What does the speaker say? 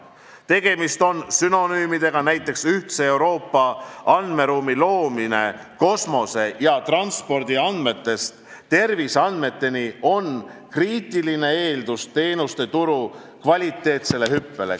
Tegemist on sünonüümidega: näiteks ühtse Euroopa andmeruumi loomine kosmose- ja transpordiandmetest terviseandmeteni on kriitiline eeldus teenuste turu kvalitatiivseks hüppeks.